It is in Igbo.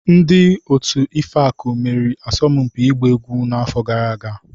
Ndị otu Ifeaku meriri asọmpi ịgba egwu n'afọ gara aga.